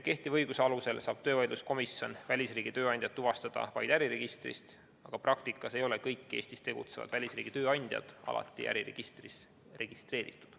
Kehtiva õiguse alusel saab töövaidluskomisjon välisriigi tööandjad tuvastada vaid äriregistrist, aga praktikas ei ole kõik Eestis tegutsevad välisriigi tööandjad alati äriregistris registreeritud.